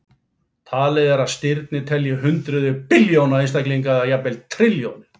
Talið er stirnir telji hundruð billjóna einstaklinga eða jafnvel trilljónir.